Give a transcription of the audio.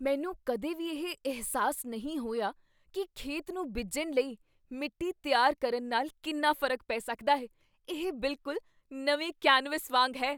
ਮੈਨੂੰ ਕਦੇ ਵੀ ਇਹ ਅਹਿਸਾਸ ਨਹੀਂ ਹੋਇਆ ਕੀ ਖੇਤ ਨੂੰ ਬੀਜਣ ਲਈ ਮਿੱਟੀ ਤਿਆਰ ਕਰਨ ਨਾਲ ਕਿੰਨਾ ਫਰਕ ਪੈ ਸਕਦਾ ਹੈ। ਇਹ ਬਿਲਕੁਲ ਨਵੇਂ ਕੈਨਵਸ ਵਾਂਗ ਹੈ!